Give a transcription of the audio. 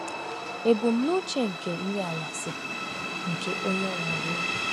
Ebumnuche nke nri anyasị nke Onyenwe anyị.